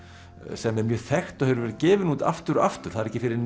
sem er mjög þekkt og hefur verið gefin út aftur og aftur það er ekki fyrr en